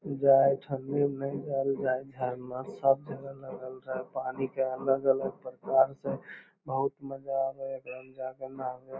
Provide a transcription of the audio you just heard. जाइत हलिओ झरना सब जगह लगल रहे पानी के अलग अलग प्रकार से बहुत मजा आवे एदम जा के नहावे